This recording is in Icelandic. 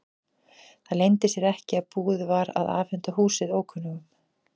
Það leyndi sér ekki að búið var að afhenda húsið ókunnugum.